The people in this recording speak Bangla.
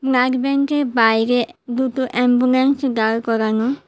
ব্লাড ব্যাংকের বাইরে দুটো অ্যাম্বুলেন্স দাঁড় করানো।